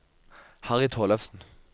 Harry Tollefsen